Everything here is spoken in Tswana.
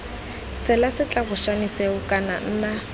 tshela setlabošane seo kana nna